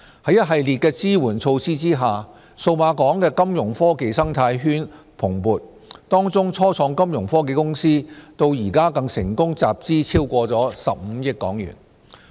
在一系列的支援措施下，數碼港的金融科技生態圈蓬勃，當中初創金融科技公司至今更成功集資超過15億港元。